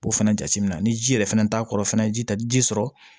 Ko fɛnɛ jateminɛ ni ji yɛrɛ fɛnɛ t'a kɔrɔ fɛnɛ ji ta ji sɔrɔ